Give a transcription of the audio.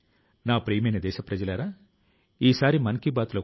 ఈ విషయం మన దేశవాసులందరికీ స్ఫూర్తిదాయకం